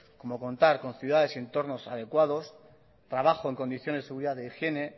como contar con ciudades y entornos adecuados trabajo en condiciones de seguridad de higiene